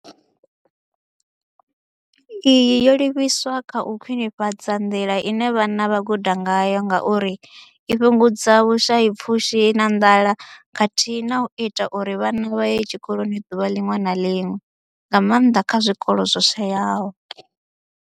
Iyi yo livhiswa kha u khwinifhadza nḓila ine vhana vha guda ngayo ngauri i fhungudza vhushayapfushi na nḓala khathihi na u ita uri vhana vha ye tshikoloni ḓuvha ḽiṅwe na ḽiṅwe, nga maanḓa kha zwikolo zwo shayaho.